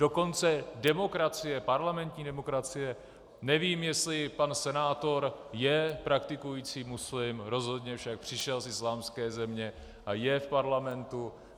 Dokonce demokracie, parlamentní demokracie - nevím, jestli pan senátor je praktikující muslim, rozhodně však přišel z islámské země a je v parlamentu.